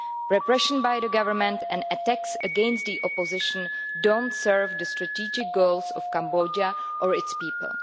Repression by the government and attacks against the opposition do not serve the strategic goals of Cambodia or its people.